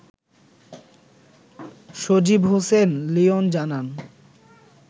সজিব হোসেন লিয়ন জানান